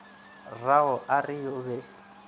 rrago a re o be